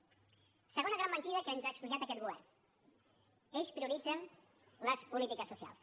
segona gran mentida que ens ha explicat aquest govern ells prioritzen les polítiques socials